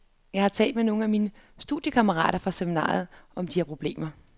Jeg har talt med nogle af mine studiekammerater fra seminariet om de her problemer.